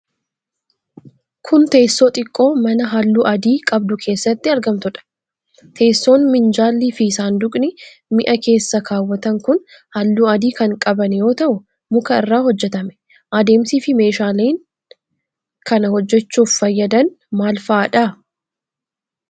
Kun, teessoo xiqqoo mana haalluu adii qabdu keessatti argamtuudha? Teessoon ,minjaalli fi saanduqni mi'a keessa kaawwatan kun haalluu adii kan qaban yoo ta'u, muka irraa hojjatame. Adeemsi fi meeshaaleen meeshaalee kana hojjachuuf fayyadan maal faa dha?